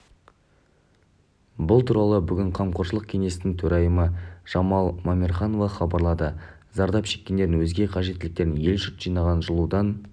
бұл туралы бүгін қамқоршылық кеңестің төрайымы жамал мамерханова хабарлады зардап шеккендердің өзге қажеттіліктеріне ел-жұрт жинаған жылудан